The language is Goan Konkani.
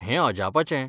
हें अजापाचें!